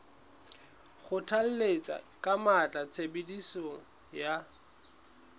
kgothalletsa ka matla tshebediso ya